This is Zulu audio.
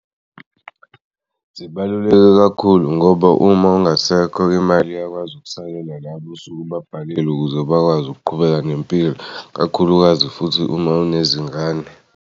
Zibaluleke kakhulu ngoba uma ungasekho le mali iyakwazi ukusayela labo osuke ubabhalile ukuze bakwazi ukuqhubeka nempilo kakhulukazi futhi uma unezingane.